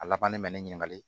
A labannen bɛ ne ɲininka